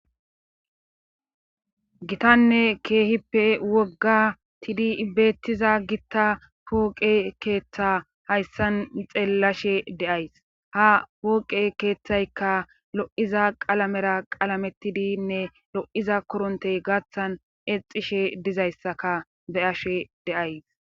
gitanne keehippe wogga tidi ibbeetiza gitta pooqe keeththa hayssan xeellashe deays ha pooqe keeththaykka lo7iza qalamera qalametidinne lo7iza korontey gaaththan exishe dizayssaka beyashe deays